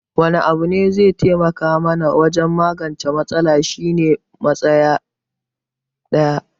Wani abu da zai taimaka mana wajen magance matsalar shi ne samun matsaya daya